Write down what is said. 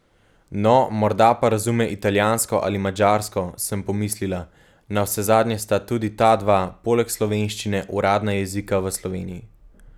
No, morda pa razume italijansko ali madžarsko, sem pomislila, navsezadnje sta tudi ta dva, poleg slovenščine, uradna jezika v Sloveniji.